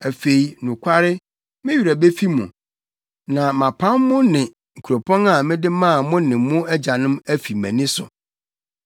Afei, nokware, me werɛ befi mo, na mapam mo ne kuropɔn a mede maa mo ne mo agyanom afi mʼani so.